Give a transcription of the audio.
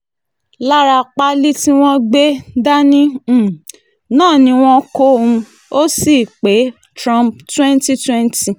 lára páálí tí wọ́n sì gbé dání um náà ni wọ́n kó um o sí báyìí pé trump twenty twenty